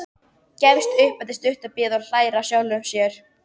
Gefst upp eftir stutta bið og hlær að sjálfum sér.